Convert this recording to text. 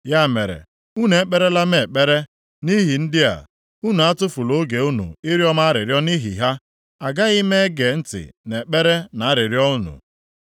“Ya mere, unu ekperela m ekpere nʼihi ndị a; unu atụfula oge unu ịrịọ m arịrịọ nʼihi ha. Agaghị m ege ntị nʼekpere na arịrịọ unu.